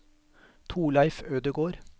Torleif Ødegård